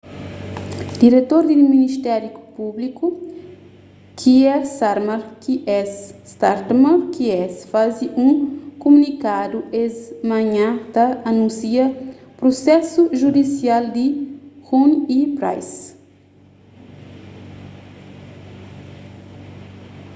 diretor di ministériu públiku kier starmer qc faze un kumunikadu es manhan ta anúnsia prusesu judisial di huhne y pryce